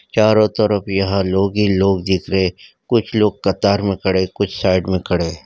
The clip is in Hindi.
चोरा तरफ लोग ही लोग दिख रहे कुछ लोग कतार में खड़े कुछ साइड में खड़े है।